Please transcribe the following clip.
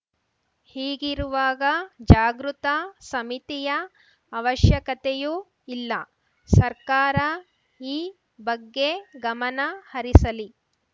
ಹೀಗಿರುವಾಗ ಜಾಗೃತ ಸಮಿತಿಯ ಅವಶ್ಯಕತೆಯೂ ಇಲ್ಲ ಸರ್ಕಾರ ಈ ಬಗ್ಗೆ ಗಮನ ಹರಿಸಲಿ